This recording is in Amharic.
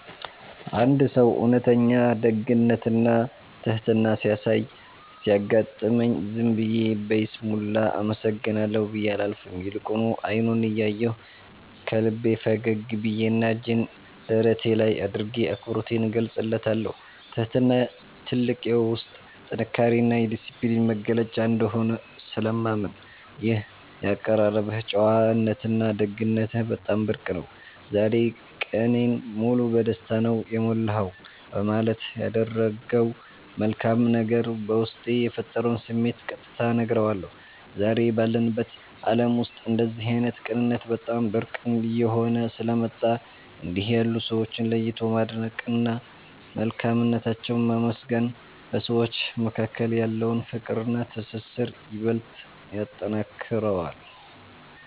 አንድ ሰው እውነተኛ ደግነትና ትሕትና ሲያሳይ ሲያጋጥመኝ፣ ዝም ብዬ በይስሙላ “አመሰግናለሁ” ብዬ አላልፍም፤ ይልቁኑ አይኑን እያየሁ፣ ከልቤ ፈገግ ብዬና እጄን ደረቴ ላይ አድርጌ አክብሮቴን እገልጽለታለሁ። ትሕትና ትልቅ የውስጥ ጥንካሬና የዲስፕሊን መገለጫ እንደሆነ ስለማምን፣ “ይህ የአቀራረብህ ጨዋነትና ደግነትህ በጣም ብርቅ ነው፤ ዛሬ ቀኔን ሙሉ በደስታ ነው የሞላኸው” በማለት ያደረገው መልካም ነገር በውስጤ የፈጠረውን ስሜት ቀጥታ እነግረዋለሁ። ዛሬ ባለንበት ዓለም ውስጥ እንደዚህ ዓይነት ቅንነት በጣም ብርቅ እየሆነ ስለመጣ፣ እንዲህ ያሉ ሰዎችን ለይቶ ማድነቅና መልካምነታቸውን ማመስገን በሰዎች መካከል ያለውን ፍቅርና ትስስር ይበልጥ ያጠነክረዋል።